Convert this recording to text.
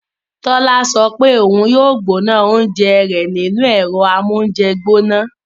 Tola sọ pe oun yoo gbona ounjẹ rẹ ni makirowefu